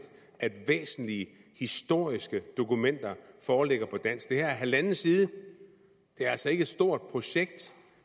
at væsentlige historiske dokumenter foreligger på dansk det her er halvanden side det er altså ikke noget stort projekt